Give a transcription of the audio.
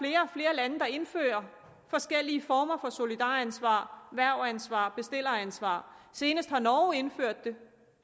lande der indfører forskellige former for solidaransvar hvervansvar bestilleransvar senest har norge indført det